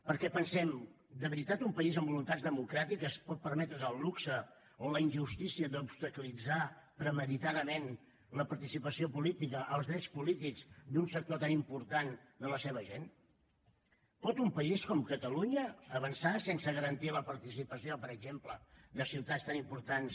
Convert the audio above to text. perquè pensem de veritat un país amb voluntats democràtiques pot permetre’s el luxe o la injustícia d’obstaculitzar premeditadament la participació política els drets polítics d’un sector tan important de la seva gent pot un país com catalunya avançar sense garantir la participació per exemple de ciutats tan importants